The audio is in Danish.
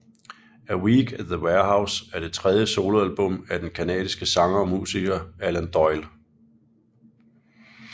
A Week at the Warehouse er det tredje soloalbum af den canadiske sanger og musiker Alan Doyle